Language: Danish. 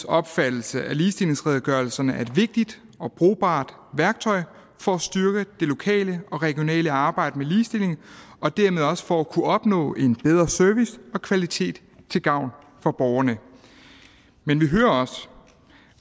opfattelse at ligestillingsredegørelserne er et vigtigt og brugbart værktøj for at styrke det lokale og regionale arbejde med ligestilling og dermed også for at kunne opnå en bedre service og kvalitet til gavn for borgerne men vi hører også